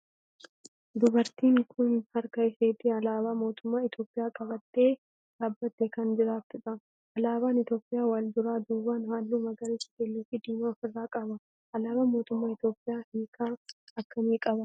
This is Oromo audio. Dubartiin tun harka isheetti alaabaa mootummaa Itiyoophiyaa qabattee dhaabbattee kan jirtudha. Alaabaan Itiyoophiyaa wal duraa duuban halluu magariisa, keelloo fi diimaa of irraa qaba. Alaabaan mootummaa Itiyoophiyaa hiika akkamii qaba?